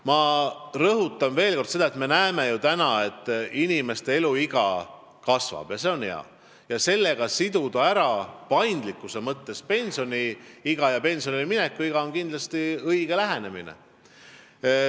Ma rõhutan veel kord: me näeme ju, et inimeste eluiga kasvab, mis on hea, ja kindlasti on õige lähenemine see, et sellega tuleks paindlikkuse huvides siduda pensionile mineku iga.